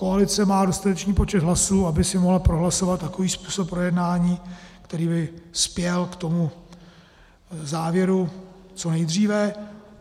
Koalice má dostatečný počet hlasů, aby si mohla prohlasovat takový způsob projednání, který by spěl k tomu závěru co nejdříve.